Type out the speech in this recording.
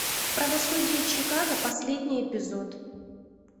правосудие чикаго последний эпизод